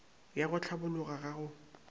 ya go hlabologa ga go